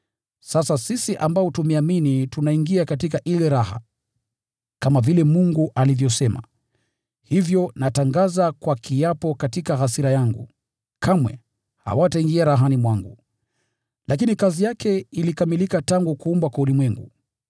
Sasa sisi ambao tumeamini tunaingia katika ile raha, kama vile Mungu alivyosema, “Kwa hiyo nikaapa katika hasira yangu, ‘Kamwe hawataingia rahani mwangu.’ ” Lakini kazi yake ilikamilika tangu kuumbwa kwa ulimwengu.